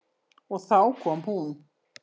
Og þá kom hún.